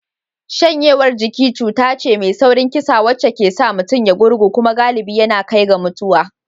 Shanyewar jiki cuta ce mai saurin kisa wacce ke sa mutum ya gurgu kuma galibi yana kai ga mutuwa.